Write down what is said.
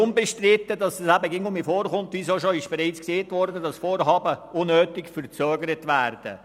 Unbestritten ist, dass Vorhaben ab und zu unnötig verzögert werden.